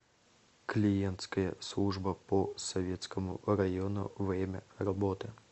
клиентская служба по советскому району время работы